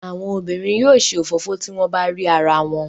Àwọn obìnrin yóò ṣe òfófó tí wọ́n bá rí arawọn.